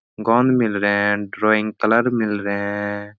गोन मिल रहे है। ड्रॉइंग कलर मिल रहे हैं।